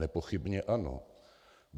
Nepochybně ano.